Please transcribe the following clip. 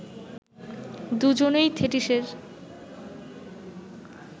দুজনেই থেটিসের